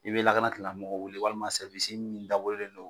I be lakana tigilamɔgɔw wele walima sɛriwisi min dabɔlen do